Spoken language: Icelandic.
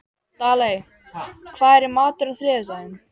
Daley, hvað er í matinn á þriðjudaginn?